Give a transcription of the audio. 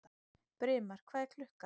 Brimar, hvað er klukkan?